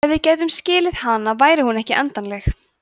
ef við gætum skilið hana væri hún ekki endanleg“